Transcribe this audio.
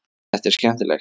Þetta er skemmtilegt.